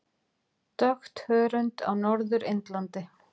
Dökkt hörund á Norður Indlandi.